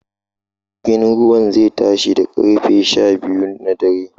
Jirgin ruwan zai tashi da ƙarfe sha biyu na dare